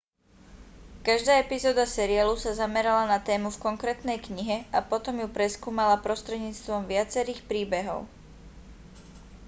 každá epizóda seriálu sa zamerala na tému v konkrétnej knihe a potom ju preskúmala prostredníctvom viacerých príbehov